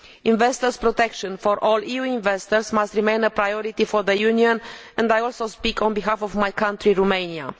Investor protection for all EU investors must remain a priority for the Union and I also speak on behalf of my country, Romania.